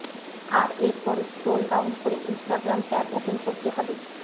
আর এর পরে scroll down করে ইন্সটাগ্রাম ট্যাব ওপেন করতে হবে